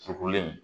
Tugulen